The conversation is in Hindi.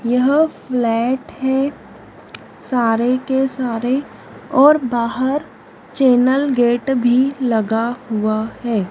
यह फ्लैट है सारे के सारे और बाहर चैनल गेट भी लगा हुआ है।